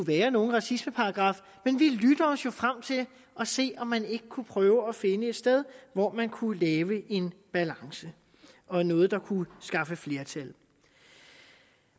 være nogen racismeparagraf men vi lytter os jo frem til at se om man ikke kunne prøve at finde et sted hvor man kunne lave en balance og noget der kunne skaffe flertal